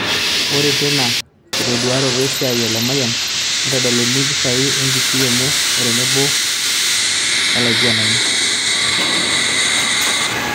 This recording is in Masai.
Ore teina kitoduaroto esiaai e Lemayian, neitodoluni impishai enkishui enye o tenebo era olaigurani